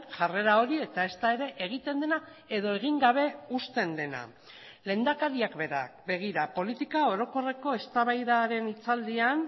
jarrera hori eta ezta ere egiten dena edo egin gabe uzten dena lehendakariak berak begira politika orokorreko eztabaidaren hitzaldian